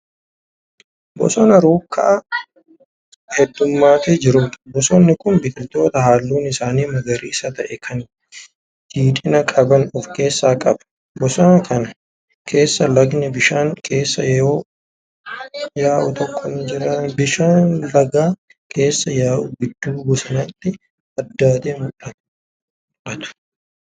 Bosona rukkaa heeddummatee jirudha. bosonni Kuni biqiltoota halluun isaanii magariisa ta'e Kan jiidhina qaban of keessaa qaba. bosona Kan keessaan lagni bishaan keessa yaa'u tokko ni jira. bishaan Laga keessa yaa'u gidduu bosonaatti addaatee mul'atu.